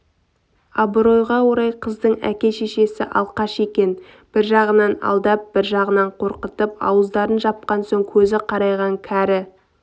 абыройға орай қыздың әке-шешесі алкаш екен бір жағынан алдап бір жағынан қорқытып ауыздарын жапқан соң көзі қарайған кәрі